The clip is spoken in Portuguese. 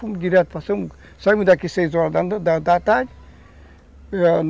Fomos direto, passamos... Saímos daqui seis horas da da tarde.